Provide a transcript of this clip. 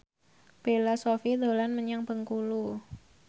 Bella Shofie dolan menyang Bengkulu